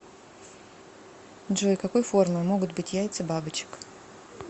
джой какой формы могут быть яйца бабочек